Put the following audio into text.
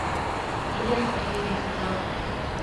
блеск последний сезон